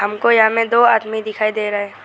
हमको यहां में दो आदमी दिखाई दे रहा है।